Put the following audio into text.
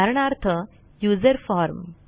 उदाहरणार्थ user form